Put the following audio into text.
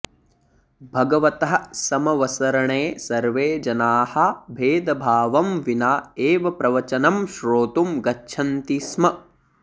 भगवतः समवसरणे सर्वे जनाः भेदभावं विना एव प्रवचनं श्रोतुं गच्छन्ति स्म